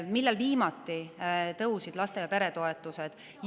Siis viimati tõusid laste- ja peretoetused.